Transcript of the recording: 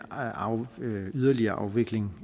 yderligere afvikling